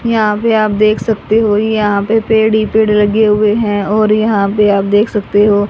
यहां पे आप देख सकते हो यहां पे पेड़ ही पेड़ लगे हुए हैं और यहां पे आप देख सकते हो।